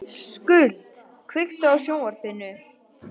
Skuld, kveiktu á sjónvarpinu.